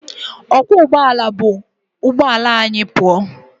Ọkwọụgbọala bu onyeisi ahụ pụọ